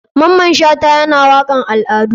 Maman shata yana wakan al adu ne.